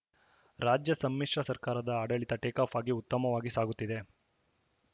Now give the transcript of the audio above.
ರಾಜ್ಯ ಸಮ್ಮಿಶ್ರ ಸರ್ಕಾರದ ಆಡಳಿತ ಟೇಕಾಫ್‌ ಆಗಿ ಉತ್ತಮವಾಗಿ ಸಾಗುತ್ತಿದೆ